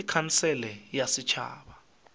ke khansele ya setšhaba ya